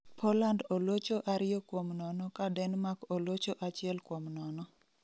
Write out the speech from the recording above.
Poland olocho ariyo kuom nono ka Denmark olocho achiel kuom nono